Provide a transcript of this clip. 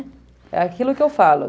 É aquilo que eu falo.